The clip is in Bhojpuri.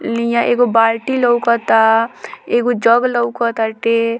लिया एगो बाल्टी लोकता एगो जग लोकताते |